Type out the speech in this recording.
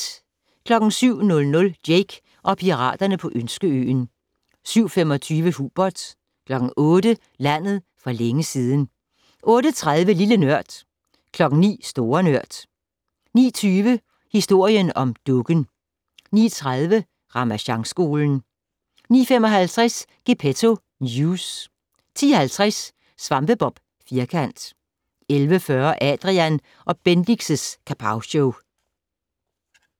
07:00: Jake og piraterne på Ønskeøen 07:25: Hubert 08:00: Landet for længe siden 08:30: Lille Nørd 09:00: Store Nørd 09:20: Historien om dukken 09:30: Ramasjangskolen 09:55: Gepetto News 10:50: SvampeBob Firkant 11:40: Adrian & Bendix' Kapowshow